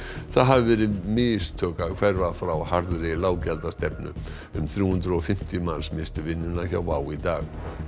það hafi verið mistök að hverfa frá harðri um þrjú hundruð og fimmtíu manns misstu vinnuna hjá WOW í dag